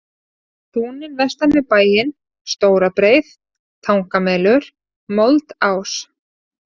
Túnin vestan við bæinn, Stórabreið, Tangamelur, Moldás